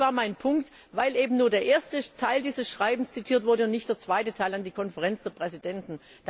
Das war mein Punkt, weil eben nur der erste Teil dieses Schreibens zitiert wurde und nicht der zweite Teil an die Konferenz der Präsidenten.